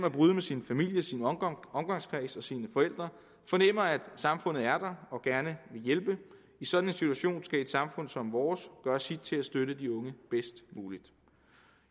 at bryde med sin familie sin omgangskreds og sine forældre fornemmer at samfundet er der og gerne vil hjælpe i sådan en situation skal et samfund som vores gøre sit til at støtte de unge bedst muligt